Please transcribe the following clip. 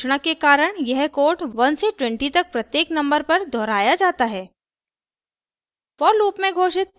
for loop की घोषणा के कारण यह कोड 1 से 20 तक प्रत्येक नंबर पर दोहराया जाता है